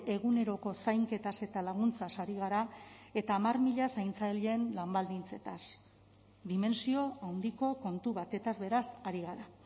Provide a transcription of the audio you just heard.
eguneroko zainketaz eta laguntzaz ari gara eta hamar mila zaintzaileen lan baldintzez dimentsio handiko kontu batez beraz ari gara